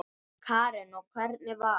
Karen: Og hvernig var?